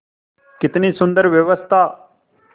कितनी सुंदर व्यवस्था